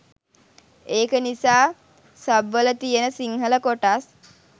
ඒක නිසා සබ්වල තියන සිංහල කොටස්